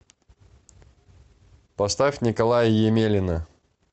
поставь николая емелина